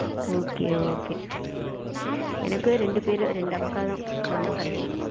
okay, okay எனக்கு இரண்டு பேரு இரண்டு அக்கா, நான் தான் கடைசி.